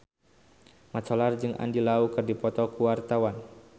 Mat Solar jeung Andy Lau keur dipoto ku wartawan